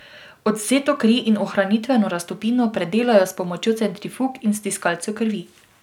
Odvzeto kri in ohranitveno raztopino predelajo s pomočjo centrifug in stiskalcev krvi.